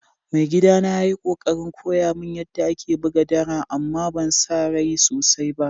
Mai gida na ya yi kokarin koya mun yada ake buga dara amma ban sa rai sosai ba.